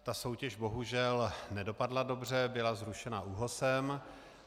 Ta soutěž bohužel nedopadla dobře, byla zrušena ÚOHSem.